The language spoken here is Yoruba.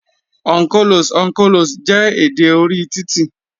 On colos, on colos, jẹ́ èdè orí titi.